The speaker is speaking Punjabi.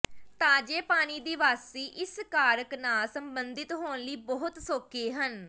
ਤਾਜ਼ੇ ਪਾਣੀ ਦੇ ਵਾਸੀ ਇਸ ਕਾਰਕ ਨਾਲ ਸੰਬੰਧਿਤ ਹੋਣ ਲਈ ਬਹੁਤ ਸੌਖੇ ਹਨ